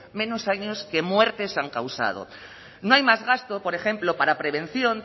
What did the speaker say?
menos años que muertes han causado no hay más gasto por ejemplo para prevención